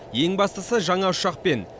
ең бастысы жаңа ұшақпен